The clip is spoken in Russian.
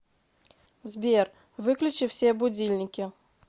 сбер выключи все будильники